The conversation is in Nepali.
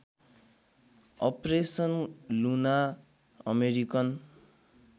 operation Luna American